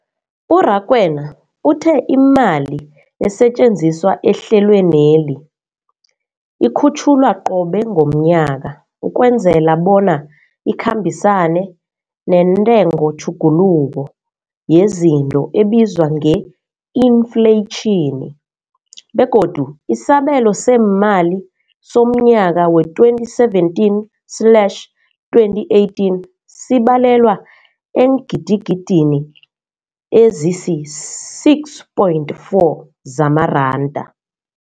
U-Rakwena uthe imali esetjenziswa ehlelweneli ikhutjhulwa qobe ngomnyaka ukwenzela bona ikhambisane nentengotjhuguluko yezinto ebizwa nge-infleyitjhini, begodu isabelo seemali somnyaka we-2017 slash 2018 sibalelwa eengidigidini ezisi-6.4 zamaranda.